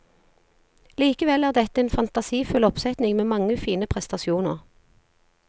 Likevel er dette en fantasifull oppsetning med mange fine prestasjoner.